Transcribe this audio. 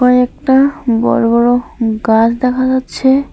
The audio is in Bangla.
কয়েকটা বড় বড় গাছ দেখা যাচ্ছে।